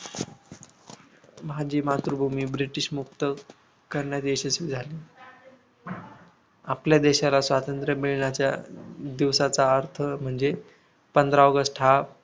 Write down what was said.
माझी मातृभूमी ब्रिटिशमुक्त करण्यात यशस्वी झाले आपल्या देशाला स्वातंत्र मिळण्याच्या दिवसाचा अर्थ म्हणजे पंधरा ऑगस्ट हा